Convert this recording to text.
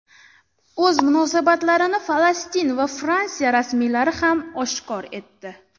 O‘z munosabatlarini Falastin va Fransiya rasmiylari ham oshkor etdi.